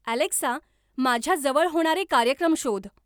Alexa माझ्या जवळ होणारे कार्यक्रम शोध